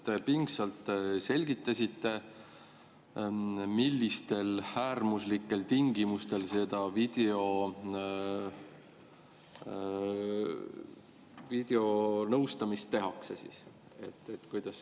Te pingsalt selgitasite, millistel äärmuslikel tingimustel seda videonõustamist tehakse.